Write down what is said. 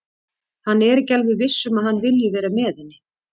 Hann er ekki alveg viss um að hann vilji vera með henni.